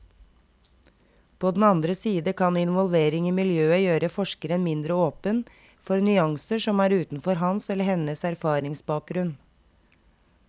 På den andre side kan involvering i miljøet gjøre forskeren mindre åpen for nyanser som er utenfor hans eller hennes erfaringsbakgrunn.